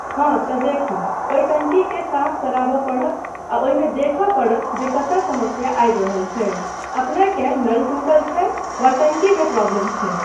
हाँ तँ देखू, ओहि टंकीकेँ साफ करयबा पड़त आ ओहिमे देखय पड़त जे कतय समस्या आबि रहल छै, अपनेकेँ नल टूटल छै वा टंकिमे प्रॉब्लम छै।